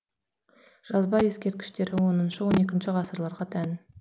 жазба ескерткіштері оныншы он екінші ғасырларға тән